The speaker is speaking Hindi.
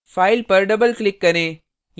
file पर double click करें